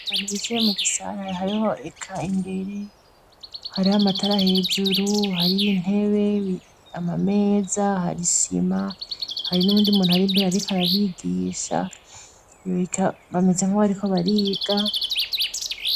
Abantu bizuye mu gisare hariho eka imbere hariho amatara hejuru, hari intebe, amameza hari isima, hari nundi muntu arimbere ariko arabigisha, eka bameze nkaho bariko bariga.